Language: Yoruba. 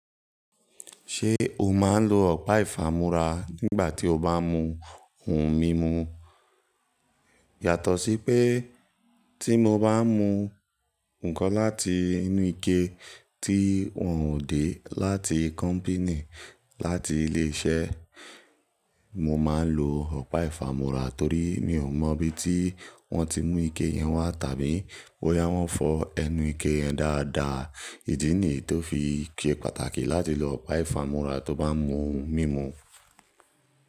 Ṣé o máa ń lo ọ̀pá ìfámúra nígbà tí o bá mú ohun mímu? Yàtọ̀ sí pé tí mo bá mú nnkan láti inú ike tí wọ́n ò dé láti kọ́mpíìnì láti ilé iṣẹ́, mo máa ń lo ọ̀pá ìfámúra torí mi ò mọ̀ bí tí wọ́n ti mú ike yẹn wá tàbí bóyá wọ́n fọ ẹnu ike yẹn dáadáa. Ìdí nìyí tó fi ṣe pàtàkì láti lo ọ̀pá ìfámúra tó bá mú ohun mímu.